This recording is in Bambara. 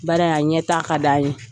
Baara in a ɲɛtaga ka d'an ye.